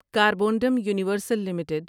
Carborundum Universal limited